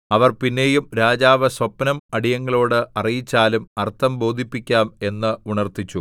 അവർ പിന്നെയും രാജാവ് സ്വപ്നം അടിയങ്ങളോട് അറിയിച്ചാലും അർത്ഥം ബോധിപ്പിക്കാം എന്ന് ഉണർത്തിച്ചു